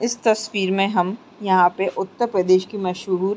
इस तस्वीर में हम यहाँ पे उत्तर प्रदेश की मशहूर --